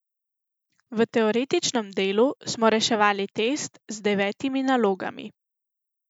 V teoretičnem delu smo reševali test z devetimi nalogami.